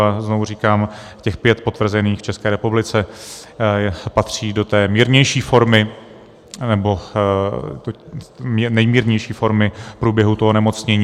A znovu říkám, těch pět potvrzených v České republice patří do té mírnější formy, nebo nejmírnější formy průběhu toho onemocnění.